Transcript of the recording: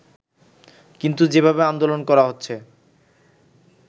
কিন্তু যেভাবে আন্দোলন করা হচ্ছে